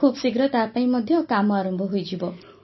ଖୁବ୍ ଶୀଘ୍ର ତାପାଇଁ ମଧ୍ୟ କାମ ଆରମ୍ଭ ହୋଇଯିବ